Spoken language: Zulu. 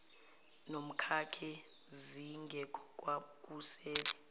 nomkakhe zingekho kwakusele